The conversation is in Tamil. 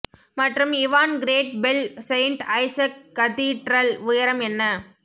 மற்றும் Ivan great bell saint Isaac cathedral உயரம் என்ன